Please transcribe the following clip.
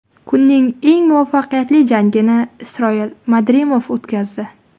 Kunning eng muvaffaqiyatli jangini Isroil Madrimov o‘tkazdi.